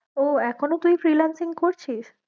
ও এখনো তুই freelancing করছিস?